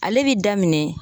Ale bi daminɛ